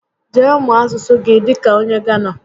Jee mụọ asụsụ gị dịka onye Gánà